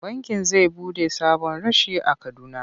Bankin zai buɗe sabon reshe a Kaduna.